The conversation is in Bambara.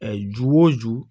ju o ju